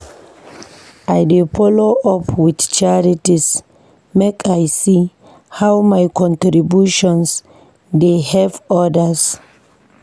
I dey do follow up with charities make I see how my contributions dey help others.